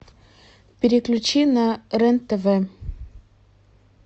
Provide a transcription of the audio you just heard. переключи на рен тв